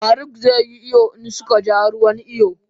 faruk ze yi iyo insuncanja ruwan iyon.